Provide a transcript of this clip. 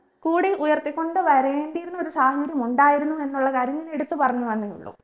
കൂടെ ഉയർത്തികൊണ്ട് വരേണ്ടിയിരുന്ന ഒരു സാഹചര്യം ഉണ്ടായിരുന്നു എന്നുള്ള കാര്യം ഞാൻ എടുത്ത് പറഞ്ഞുവെന്നേ ഉള്ളൂ